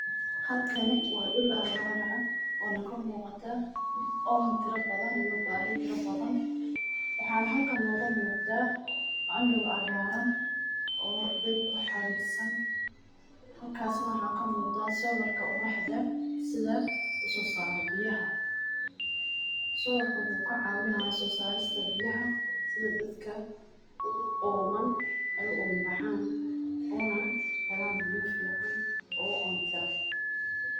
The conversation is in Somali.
Halkani waa dul abaar ah oo kamuqataa oon iyo baahi fara badan waxaa noo muqadaa andow cagaaran iyo beeb wuxuu kacawinaya inaay dadka helaan biya fican oo oon tira.